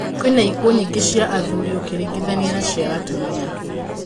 Kwĩna ikuũ nyĩngĩ cia athuri ũkĩringithania na cia atumia